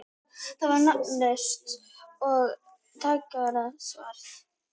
Það var nafnlaust og tjargað svart.